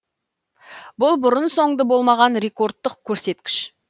бұл бұрын соңды болмаған рекордтық көрсеткіш